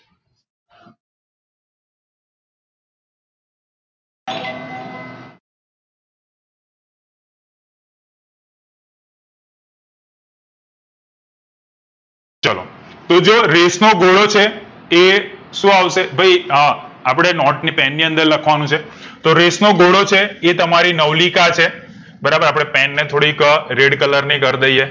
ચાલો તો જો રેસ નો ઘોડો છે એ શું આવશે ભઈ અહ અપડે નોટે અને pen ની અંદર લખવાનું છે તો રેસ નો ઘોડો છે એ તમારી નવલિકા છે બરાબર અપડે pen ને થોડી red colour ની કર દઈએ